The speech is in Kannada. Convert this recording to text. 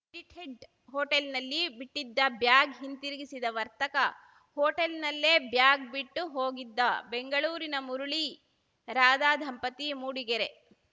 ಎಡಿಟೆಡ್‌ ಹೋಟೆಲ್‌ನಲ್ಲಿ ಬಿಟ್ಟಿದ್ದ ಬ್ಯಾಗ್‌ ಹಿಂದಿರುಗಿಸಿದ ವರ್ತಕ ಹೋಟೆಲ್‌ನಲ್ಲೇ ಬ್ಯಾಗ್‌ ಬಿಟ್ಟು ಹೋಗಿದ್ದ ಬೆಂಗಳೂರಿನ ಮುರಳಿ ರಾಧ ದಂಪತಿ ಮೂಡಿಗೆರೆ